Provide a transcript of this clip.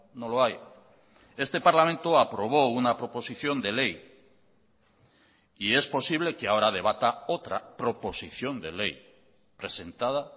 no lo hay este parlamento aprobó una proposición de ley y es posible que ahora debata otra proposición de ley presentada